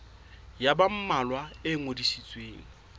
ya ba mmalwa e ngodisitsweng